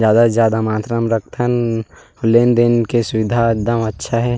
ज्यादा से ज्यादा मात्रा म रख थन लेन देन के सुविधा एक दम अच्छा हे।